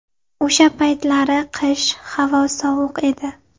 O‘sha paytlari qish, havo sovuq edi.